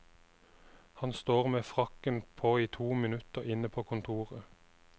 Han står med frakken på i to minutter inne på kontoret.